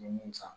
N ye mun san